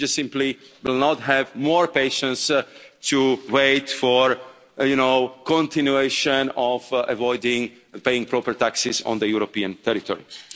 We just simply will not have more patience to wait for the continuation of avoiding paying proper taxes on the European territories.